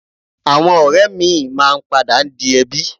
Àwọn ọ̀rẹ́ míì máa ń padà di ẹbí